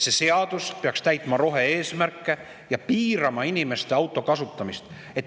See seadus peaks täitma rohe-eesmärke ja piirama autode kasutamist.